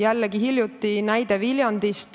Toon hiljutise näite Viljandist.